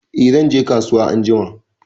Eh zan je kasuwa anjima.